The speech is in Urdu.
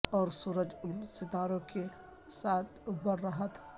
اور سورج ان ستاروں کے ساتھ بڑھ رہا تھا